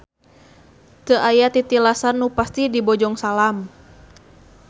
Teu aya titilasan nu pasti di Bojongsalam.